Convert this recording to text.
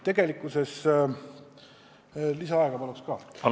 Lisaaega paluks ka!